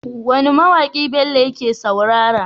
Wane ma waki Bello yake saurara?